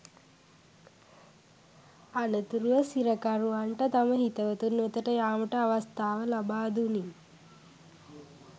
අනතුරුව සිරකරුවන්ට තම හිතවතුන් වෙතට යාමට අවස්ථාව ලබාදුනි